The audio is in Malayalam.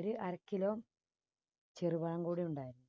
ഒരു അര kilo ചെറുപഴം കൂടി ഉണ്ടായാൽ